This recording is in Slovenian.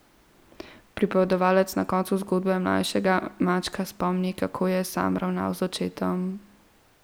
Pripovedovalec na koncu zgodbe mlajšega Mačka spomni, kako je sam ravnal z očetom.